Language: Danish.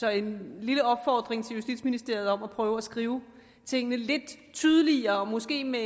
er en lille opfordring til justitsministeriet om at prøve at skrive tingene lidt tydeligere måske med